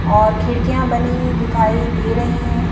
और खिड़कियां बनी दिखाई दे रही हैं।